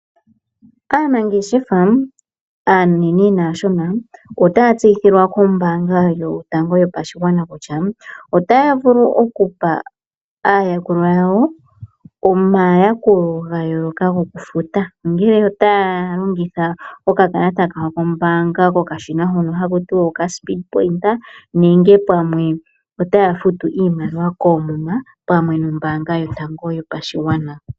Aanangeshefa aanene naashona otaya tseyithilwa kombaanga yotango yopashigwana kutya, otaya vulu okupa aayakulwa yawo omayakulo ga yooloka gokufuta ongele otaya longitha okakalata kawo kombaanga kokashina hono haku tiwa okaspeed pointa nenge pamwe otaya futu iimaliwa koomuma pamwe nombaanga yotango yopashigwana.